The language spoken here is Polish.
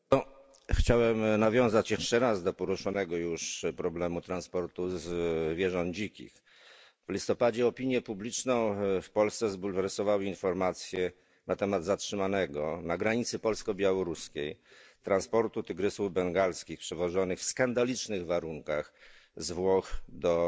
Pani Przewodnicząca! Chciałem nawiązać jeszcze raz do poruszonego już problemu transportu dzikich zwierząt. W listopadzie opinię publiczną w Polsce zbulwersowały informacje na temat zatrzymanego na granicy polsko białoruskiej transportu tygrysów bengalskich przewożonych w skandalicznych warunkach z Włoch do